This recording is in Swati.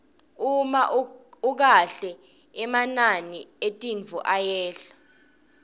uma ukahle emanani etintfo ayehla